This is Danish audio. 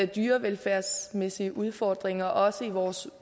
dyrevelfærdsmæssige udfordringer også i vores